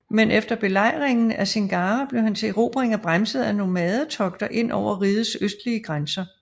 Men efter belejringen af Singara blev hans erobringer bremset af nomadetogter ind over rigets østlige grænser